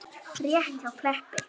Rétt hjá Kleppi.